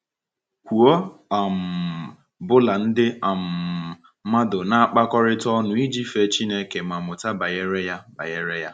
Kwụ ọ um bụla, ndị um mmadụ na -akpọkọrịta ọnụ iji fee Chineke ma mụta banyere ya. banyere ya.